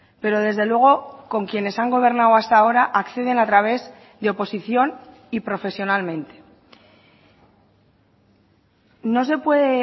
pero desde luego con quienes han gobernado hasta ahora acceden a través de oposición y profesionalmente no se puede